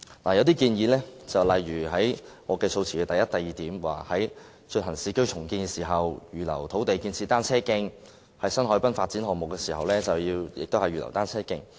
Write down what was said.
其中的建議，正如我的議案第一、二點所提述，是在進行市區重建時，預留土地建設單車徑，以及在新海濱發展項目時，增設單車徑。